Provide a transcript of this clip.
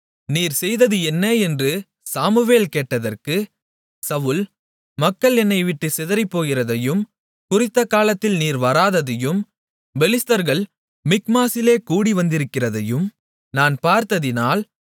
நீர் செய்தது என்ன என்று சாமுவேல் கேட்டதற்கு சவுல் மக்கள் என்னைவிட்டுச் சிதறிப்போகிறதையும் குறித்த நாளில் நீர் வராததையும் பெலிஸ்தர்கள் மிக்மாசிலே கூடிவந்திருக்கிறதையும் நான் பார்த்ததினால்